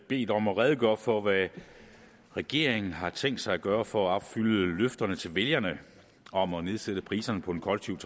bedt om at redegøre for hvad regeringen har tænkt sig at gøre for at opfylde løfterne til vælgerne om at nedsætte priserne på den kollektive